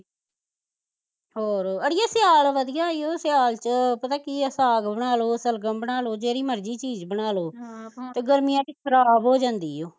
ਹੋਰ ਅੜੀਏ ਸਿਆਲ ਵਧੀਆ ਈ ਓ ਸਿਆਲ ਚ ਪਤਾ ਕਿ ਐ ਸਾਗ ਬਨਾਲੋ, ਸ਼ਲਗਮ ਬਨਾਲੋ, ਜਿਹੜੀ ਮਰਜ਼ੀ ਚੀਜ਼ ਬਨਾਲੋ ਹਮ ਤੇ ਗਰਮੀਆ ਚ ਖਰਾਬ ਹੋ ਜਾਂਦੀ ਈ ਓ